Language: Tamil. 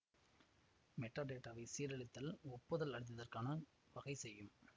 மெட்டாடேட்டாவை சீரழித்தல் ஒப்புதல் அளித்ததற்கான வகைசெய்யும்